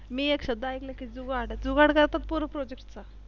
मी एक शब्द ऐकला की जुगाड जुगाड करतात पोर Project चा